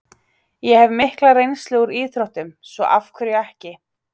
Ég hef mikla reynslu úr íþróttum, svo af hverju ekki?